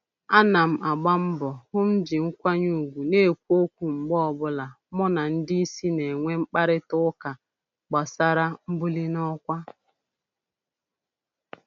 Ana m agba mbọ hụ m ji nkwanye ugwu na-ekwu okwu mgbe ọbụla mụ na ndị isi na-enwe mkparịta ụka gbasara mbuli n'ọkwa